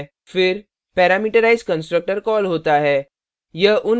फिर parameterized constructor call होता है